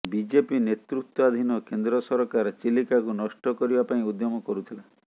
BJP ନେତୃତ୍ୱାଧୀନ କେନ୍ଦ୍ର ସରକାର ଚିଲିକାକୁ ନଷ୍ଟ କରିବା ପାଇଁ ଉଦ୍ୟମ କରୁଥିଲା